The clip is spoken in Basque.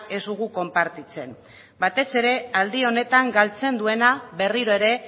ez dugu konpartitzen batez ere aldi honetan galtzen duena berriro ere